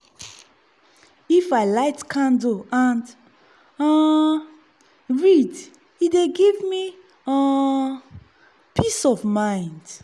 if i light candle and um read e dey give me um peace of mind.